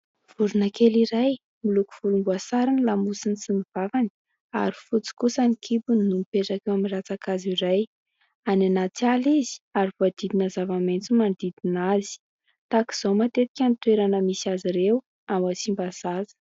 Vorona kely iray, miloko volomboasary ny lamosiny sy ny vavany ary fotsy kosa ny kibony no mipetaka eo amin'ny ratsan-kazo iray. Any anaty ala izy ary voahodidina zava-maitso manodidina azy. Tahaka izao matetika ny toerana misy azy ireo ao Tsimbazaza.